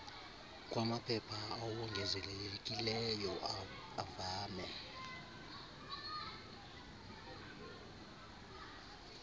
kwamaphepha awongezelelekileyo avame